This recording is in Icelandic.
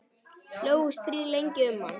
Slógust þrír lengi um hann.